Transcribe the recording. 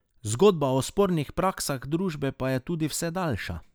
Zgodba o spornih praksah družbe pa je tudi vse daljša.